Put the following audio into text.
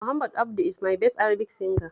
Muhammad Abdu is my best Arabic singer